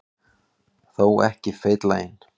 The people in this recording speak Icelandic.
Þó ekki feitlaginn.